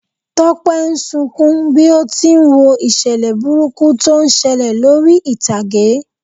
Tọ́pẹ́ ń sunkún bí ó ti n wo ìṣẹ̀lẹ̀ burúkú tó ń ṣẹlẹ̀ lórí ìtàgé.